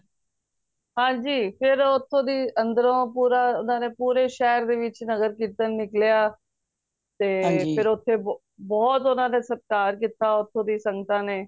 ਹਨਜੀ ਫੇਰ ਓਥੋਂ ਦੀ ਅੰਦਰੋਂ ਪੂਰਾ ਉਹਨਾਂ ਦੇ ਪੂਰੇ ਸ਼ਹਿਰ ਵਿਚ ਨਗਰ ਕੀਰਤਨ ਨਿਕਲਿਆ ਤੇ ਫੇਰ ਓਥੇ ਬਹੁਤ ਓਹਨਾ ਨੇ ਸਤਿਕਾਰ ਕੀਤਾ ਓਥੋਂ ਦੀਆ ਸੰਗਤਾਂ ਨੇ